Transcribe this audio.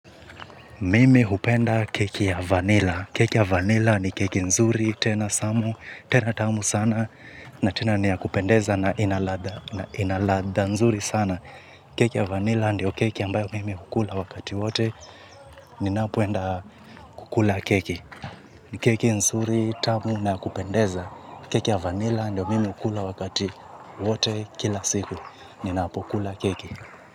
Mimi hupenda keki ya vanila. Keki ya vanila ni keki nzuri tena tamu, tena tamu sana. Na tena niyakupendeza na inaladha nzuri sana. Keki ya vanila ndio keki ambayo mimi hukula wakati wote. Ninapoenda kukula keki. Keki nzuri tamu na yakupendeza. Keki ya vanila ndio mimi hukula wakati wote kila siku. Ninapo kula keki.